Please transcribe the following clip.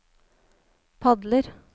padler